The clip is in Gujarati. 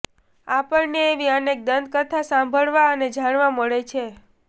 આપણને એવી અનેક દંતકથા સાંભળવા અને જાણવા મળે છે